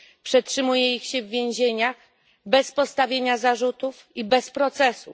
Przetrzymuje się ich w więzieniach bez postawienia zarzutów i bez procesu.